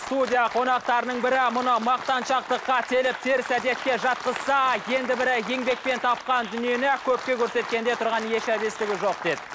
студия қонақтарының бірі мұны мақтаншақтыққа теңеп теріс әдетке жатқызса енді бірі еңбекпен тапқан дүниені көпке көрсеткенде тұрған еш әбестігі жоқ деді